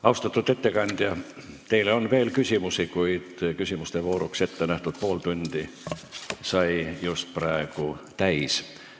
Austatud ettekandja, teile on veel küsimusi, kuid küsimuste vooruks ettenähtud pool tundi sai just praegu täis.